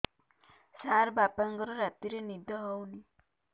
ସାର ବାପାଙ୍କର ରାତିରେ ନିଦ ହଉନି